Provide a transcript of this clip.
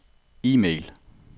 e-mail